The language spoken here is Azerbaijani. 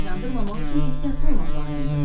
Yandırmamaq üçün ehtiyatlı olmaq lazımdır.